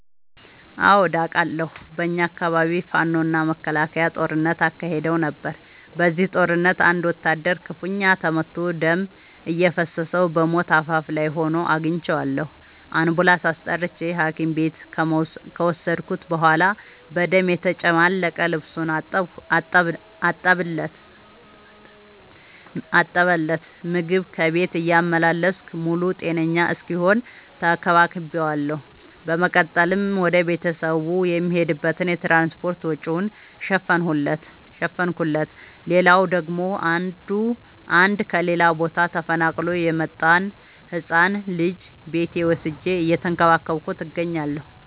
አዎድ አቃለሁ። በኛ አካባቢ ፋኖ እና መከላከያ ጦርነት አካሂደው ነበር። በዚህ ጦርነት አንድ ወታደር ክፋኛ ተመቶ ደም እየፈሰሰው በሞት አፋፍ ላይ ሆኖ አግኝቼው። አንቡላንስ አስጠርቼ ሀኪም ቤት ከወሰድከት በኋላ በደም የተጨማለቀ ልብሱን አጠብለት። ምግብ ከቤት እያመላለስኩ ሙሉ ጤነኛ እስኪሆን ተከባክ ቤዋለሁ። በመቀጠልም ወደ ቤተሰቡ የሚሄድበትን የትራንስፓርት ወጪውን ሸፈንኩለት። ሌላላው ደግሞ አንድ ከሌላ ቦታ ተፈናቅሎ የመጣን ህፃን ልጅ ቤቴ ወስጄ እየተንከባከብኩ እገኛለሁ።